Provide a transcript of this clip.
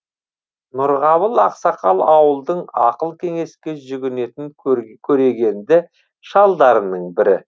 нұрғабыл ақсақал ауылдың ақыл кеңеске жүгінетін көрегенді шалдарының бірі